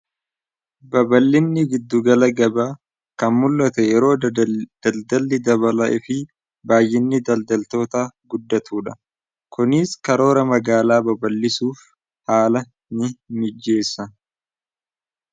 baballinni biddugala gaba kan mul'ata yeroo daldalli dabalaifi baayyinni daldaltoota guddatu dha kuniis karoora magaalaa baballisuuf haala ni mijjeessa